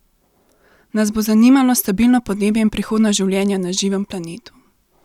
Nas bo zanimalo stabilno podnebje in prihodnost življenja na živem planetu?